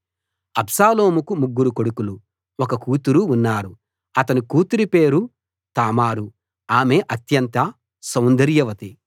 అబ్షాలోముకు ముగ్గురు కొడుకులు ఒక కూతురు ఉన్నారు అతని కూతురి పేరు తామారు ఆమె అత్యంత సౌందర్యవతి